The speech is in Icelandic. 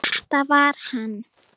Þetta var hann!